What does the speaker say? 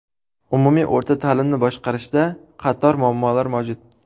Umumiy o‘rta ta’limni boshqarishda qator muammolar mavjud.